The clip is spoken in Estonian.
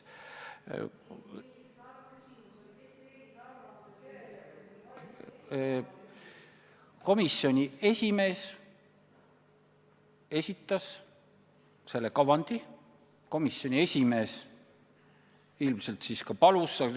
Komisjoni esimees esitas selle kavandi, ilmselt tema siis ka palus seda.